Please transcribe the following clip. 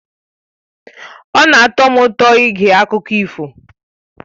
Ọ na-atọ m ụtọ ige akụkọ ifo